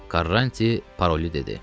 Qarranti paroli dedi.